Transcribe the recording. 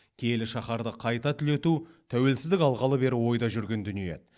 киелі шаһарды қайта түлету тәуелсіздік алғалы бері ойда жүрген дүние еді